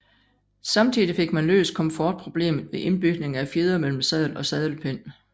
Samtidig fik man løst komfortproblemet ved indbygning af fjedre mellem sadel og sadelpind